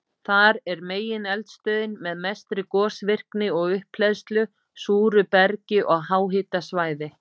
Þar er megineldstöðin með mestri gosvirkni og upphleðslu, súru bergi og háhitasvæði.